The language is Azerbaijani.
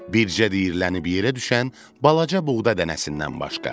Bircə dəyirlənib yerə düşən balaca buğda dənəsindən başqa.